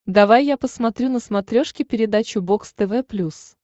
давай я посмотрю на смотрешке передачу бокс тв плюс